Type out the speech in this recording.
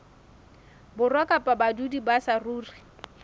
borwa kapa badudi ba saruri